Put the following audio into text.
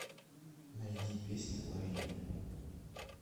найди песня лови меня